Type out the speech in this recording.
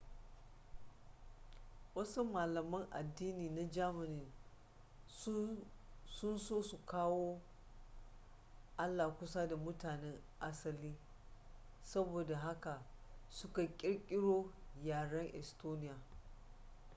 wasu malaman addini na germany sun so su kawo allah kusa da mutanen asali saboda haka suka kirkiro yaren estonia